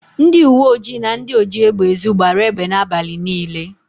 Ndịuweojii na ndị ojiégbèezu gbara égbè n' abalị niile.